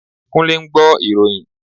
Kúnlé ń gbọ́ ìròyìn